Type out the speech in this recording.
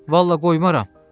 Vallah qoymaram.